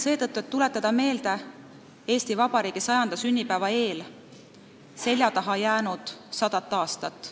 Selleks, et tuletada Eesti Vabariigi 100. sünnipäeva eel meelde seljataha jäänud sadat aastat.